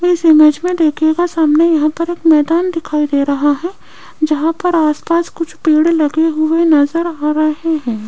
इस इमेज में देखिएगा सामने यहां पर एक मैदान दिखाई दे रहा है जहां पर आस पास कुछ पेड़ लगे हुए नजर आ रहे है।